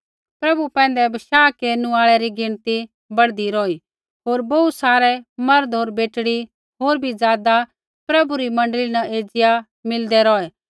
प्रभु पैंधै विश्वास केरनु आल़ै री गिणती बढ़दी रौही होर बोहू सारै मर्द होर बेटड़ी होर बी ज़ादा प्रभु री मण्डली एज़िया मिलदै रौहै